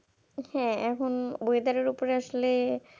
দেখুন এখন Weather ব্যাপারে আসলে